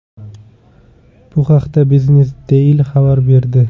Bu haqda Biznes-Daily xabar berdi .